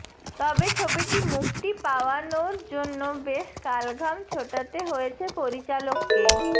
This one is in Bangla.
তবে ছবিটি মুক্তি পাওয়ানোর জন্য বেশ কাল ঘাম ছোটাতে হয়েছে পরিচালককে